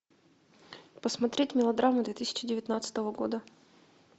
посмотреть мелодраму две тысячи девятнадцатого года